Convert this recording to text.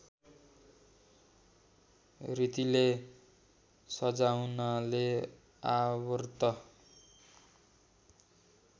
रीतिले सजाउनाले आवर्त